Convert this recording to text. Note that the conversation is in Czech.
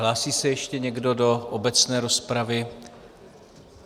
Hlásí se ještě někdo do obecné rozpravy?